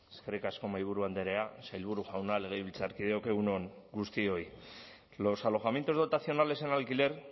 eskerrik asko mahaiburu andrea sailburu jauna legebiltzarkideok egun on guztioi los alojamientos dotacionales en alquiler